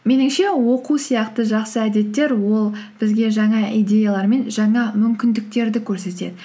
меніңше оқу сияқты жақсы әдеттер ол бізге жаңа идеялар мен жаңа мүмкіндіктерді көрсетеді